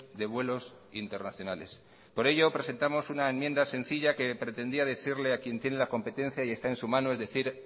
de vuelos internacionales por ello presentamos una enmienda sencilla que pretendía decirle a quien tiene la competencia y está en su mano es decir